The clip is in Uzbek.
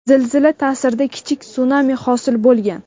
Zilzila ta’sirida kichik sunami hosil bo‘lgan.